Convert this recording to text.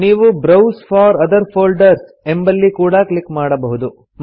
ನೀವು browse for other folders ಎಂಬಲ್ಲಿ ಕೂಡಾ ಕ್ಲಿಕ್ ಮಾಡಬಹುದು